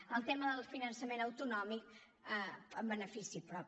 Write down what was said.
el tema del finançament autonòmic en benefici propi